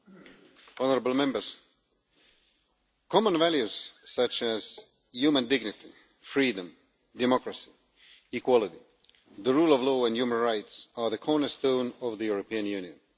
Mr President, common values such as human dignity, freedom, democracy, equality, the rule of law and human rights are the cornerstone of the European Union.